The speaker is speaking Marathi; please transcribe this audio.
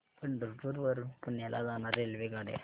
पंढरपूर वरून पुण्याला जाणार्या रेल्वेगाड्या